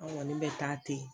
An kɔni bɛ taa ten